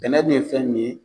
Sɛnɛ dun ye fɛn min ye